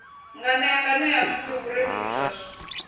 nganea nganea pfufhi vhurendi miswaswo